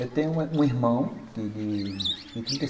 Eu tenho um irmão de de trinta e cin